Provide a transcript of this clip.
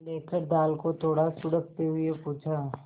लेकर दाल को थोड़ा सुड़कते हुए पूछा